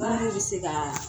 Baara de bɛ se kaa